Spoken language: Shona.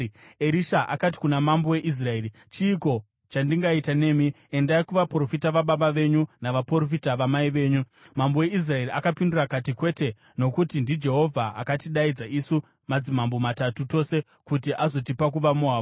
Erisha akati kuna mambo weIsraeri, “Chiiko chandingaita nemi? Endai kuvaprofita vababa venyu navaprofita vamai venyu.” Mambo weIsraeri akapindura akati, “Kwete, nokuti ndiJehovha akatidaidza isu madzimambo matatu tose kuti azotipa kuvaMoabhu.”